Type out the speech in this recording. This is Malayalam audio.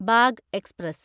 bag express